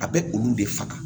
A bɛ olu de faga